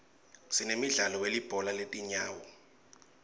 sinemdlalo welibhola letinyawo